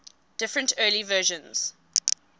different early versions